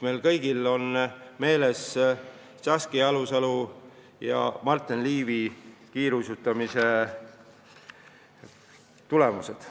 Meil kõigil on ju meeles Saskia Alusalu ja Marten Liivi tulemused.